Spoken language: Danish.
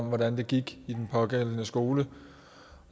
om hvordan det gik i den pågældende skole